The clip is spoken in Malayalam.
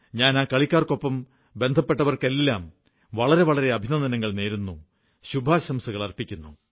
ഞാൻ ആ കളിക്കാർക്കൊപ്പം ബന്ധപ്പെട്ടവർക്കെല്ലാം വളരെവളരെ അഭിനന്ദനങ്ങൾ നേരുന്നു ശുഭാംശകൾ അർപ്പിക്കുന്നു